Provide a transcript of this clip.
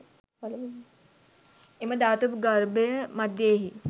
එම ධාතු ගර්භය මධ්‍යයෙහි